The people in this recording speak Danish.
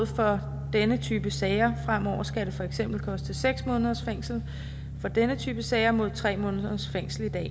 for denne type sager fremover skal det for eksempel koste seks måneders fængsel for denne type sager mod tre måneders fængsel i dag